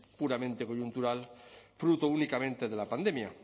puramente coyuntural fruto únicamente de la pandemia